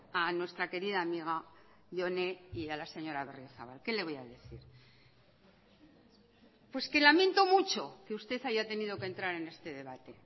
a nuestra querida amiga jone y a la señora berriozabal qué le voy a decir pues que lamento mucho que usted haya tenido que entrar en este debate